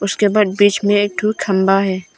उसके ऊपर बीच में एक ठु खंभा है।